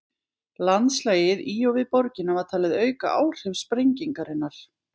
Landslagið í og við borgina var talið auka áhrif sprengingarinnar.